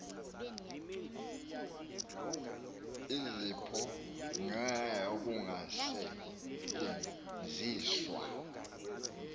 iziphumo ngenxa yokungasetyenziswa